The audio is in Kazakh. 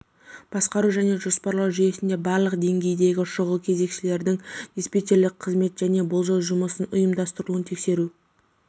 басқару және жоспарлау жүйесінде барлық деңгейдегі шұғыл кезекшілердің диспетчерлік қызметі және болжау жұмысын ұйымдастырылуын тексеру